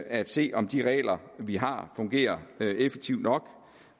at se om de regler vi har fungerer effektivt nok